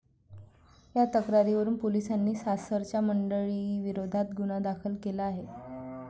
या तक्रारीवरून पोलिसांनी सासरच्या मंडळींविरोधात गुन्हा दाखल केला आहे.